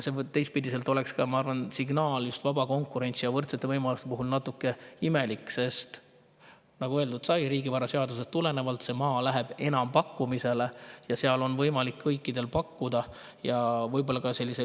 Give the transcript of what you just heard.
See oleks, ma arvan, just vaba konkurentsi ja võrdsete võimaluste mõttes natuke imelik signaal, sest nagu öeldud sai, riigivaraseadusest tulenevalt läheb see maa enampakkumisele ja seal on võimalik kõikidel pakkumisi teha.